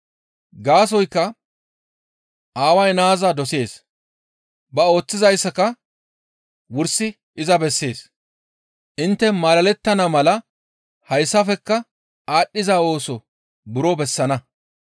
Gaasoykka Aaway naaza dosees. Ba ooththizayssaka wursi iza bessees; intte malalettana mala hayssafekka aadhdhiza ooso buro bessana.